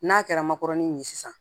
N'a kɛra makɔrɔni nin ye sisan